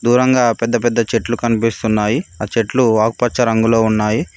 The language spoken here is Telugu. దూరంగా పెద్దపెద్ద చెట్లు కనిపిస్తున్నాయి ఆ చెట్లు ఆకుపచ్చ రంగులో ఉన్నాయి.